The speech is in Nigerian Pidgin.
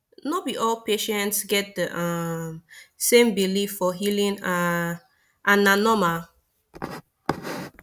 no be all patients get the um same belief for healing um and na normal